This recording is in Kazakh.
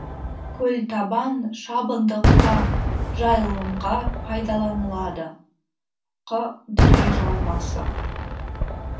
көлтабан шабындыққа жайылымға пайдаланылады қ дүре жайылмасы